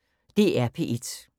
DR P1